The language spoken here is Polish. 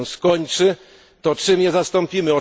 Jeśli się ono skończy, to czym je zastąpimy?